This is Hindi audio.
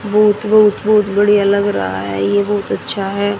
बहुत बहुत बहुत बढ़िया लग रहा हैं ये बहुत अच्छा हैं।